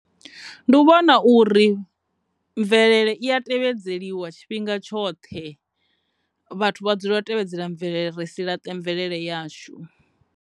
Ndi u vhona uri mvelele i ya tevhedzeliwa tshifhinga tshoṱhe vhathu vha dzulela u tevhedzela mvelele ri si laṱe mvelele yashu.